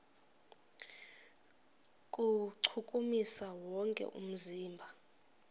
kuwuchukumisa wonke umzimba